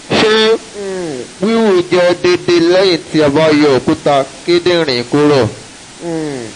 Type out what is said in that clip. ṣe um wiwu jẹ deede lẹhin ti a ba yọ okuta kindinrin kuro? um